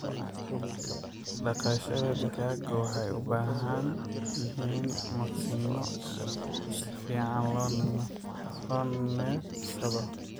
Daqashada digaagku waxay u baahan yihiin maqsinno si fiican loo neefsado.